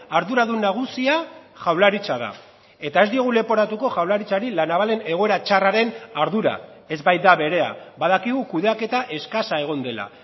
arduradun nagusia jaurlaritza da eta ez diogu leporatuko jaurlaritzari la navalen egoera txarraren ardura ez baita berea badakigu kudeaketa eskasa egon dela